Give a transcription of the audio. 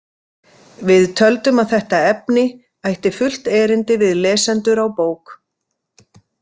Við töldum að þetta efni ætti fullt erindi við lesendur á bók.